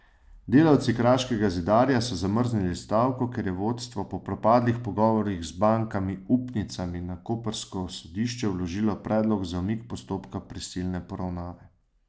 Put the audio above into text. Delavci Kraškega zidarja so zamrznili stavko, ker je vodstvo po propadlih pogovorih z bankami upnicami na koprsko sodišče vložilo predlog za umik postopka prisilne poravnave.